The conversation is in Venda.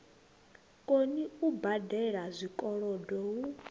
koni u badela zwikolodo hu